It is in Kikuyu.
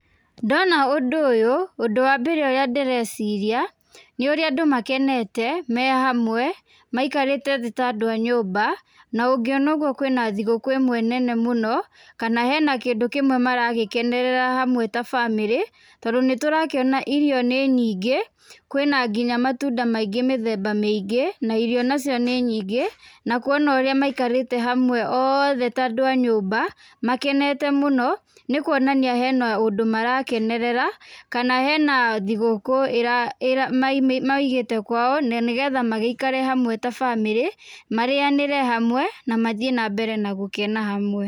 Ndona ũndũ ũyũ, ũndũ wa mbere ũrĩa ndĩreciria nĩũrĩa andũ makenete mehamwe maikarĩte thĩ ta andũ anyũmba na ũngĩona ũgũo kwĩna thigũkũ ĩmwe nene mũno kana hena kĩndũ kĩmwe maragĩkenerera hamwe ta bamĩrĩ tondũ nĩ tũrakĩona irio nĩ nyingĩ kwĩna nginya matunda maingĩ mĩthemba mĩingĩ na irio nacio nĩ nyĩngĩ na kũona ũrĩa maikarĩte othe ta andũ a nyũmba makenete muno nĩkwonania hena ũndũ marakenerera kana hena thigũkũ maigĩte kwao magĩikare hamwe ta bamĩrĩ marĩanĩre hamwe na mathĩe na mbere gũkena hamwe.